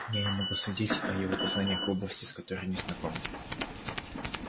я не могу судить о его познаниях в области с которой не знаком